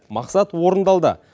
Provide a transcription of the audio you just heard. мақсат орындалды